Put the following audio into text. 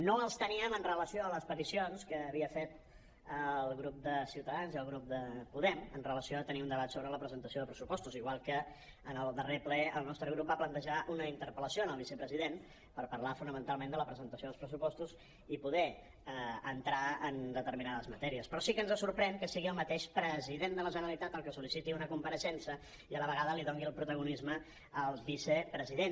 no els teníem amb relació a les peticions que havien fet el grup de ciutadans i el grup de podem amb relació a tenir un debat sobre la presentació de pressupostos igual que en el darrer ple el nostre grup va plantejar una interpel·lació al vicepresident per parlar fonamentalment de la presentació dels pressupostos i poder entrar en determinades matèries però sí que ens sorprèn que sigui el mateix president de la generalitat el que sol·liciti una compareixença i a la vegada li doni el protagonisme al vicepresident